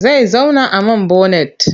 Zai zauna a man bonet.